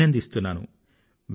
ఆభినందింస్తున్నాను